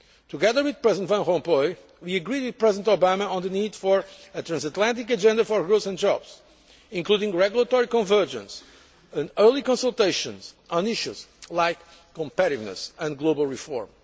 Together with President Van Rompuy, we agreed with President Obama on the need for a transatlantic agenda for growth and jobs, including regulatory convergence and early consultations on issues like competitiveness and global reform.